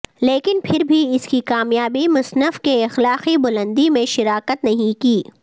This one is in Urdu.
لیکن پھر بھی اس کی کامیابی مصنف کے اخلاقی بلندی میں شراکت نہیں کی